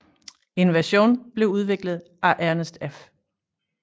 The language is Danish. En version blev udviklet af Ernest F